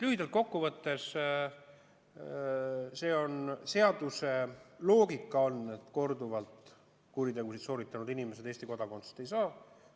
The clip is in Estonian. Lühidalt kokku võttes on seaduse loogika selline, et korduvalt kuritegusid sooritanud inimesed Eesti kodakondsust ei saa.